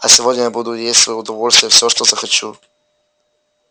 а сегодня я буду есть в своё удовольствие все что захочу